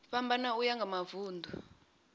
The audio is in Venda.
fhambana uya nga mavun ḓu